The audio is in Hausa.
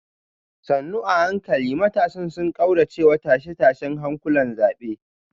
sannu a hankali matasan sun kauracewa tashe-tashen hankulan zabe